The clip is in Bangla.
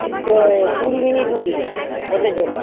চে কুড়ি মিনিট হচ্ছে, হতে চলেছে।